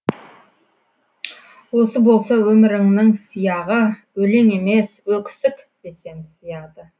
осы болса өміріңнің сияғы өлең емес өксік десем сыяды